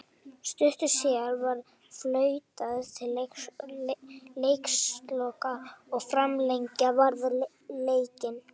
Stuttu síðar var flautað til leiksloka og framlengja varð leikinn.